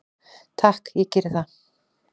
"""Takk, ég geri það, segir hann."""